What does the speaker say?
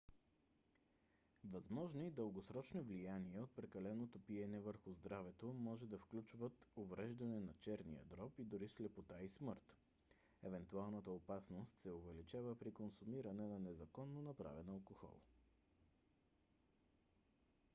възможни дългосрочни влияния от прекаленото пиене върху здравето може да включват увреждане на черния дроб и дори слепота и смърт. евентуалната опасност се увеличава при консумиране на незаконно направен алкохол